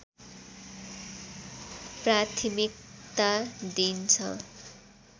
प्राथिमकता दिइन्छ